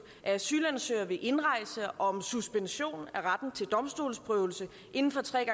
af asylansøgere ved indrejse og om suspension af retten til domstolsprøvelse inden for tre